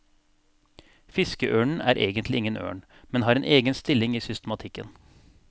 Fiskeørnen er egentlig ingen ørn, men har en egen stilling i systematikken.